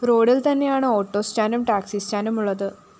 റോഡില്‍ തന്നെയാണ് ഓട്ടോസ്റ്റാന്റും ടാക്‌സിസ്റ്റാന്റുമുള്ളത്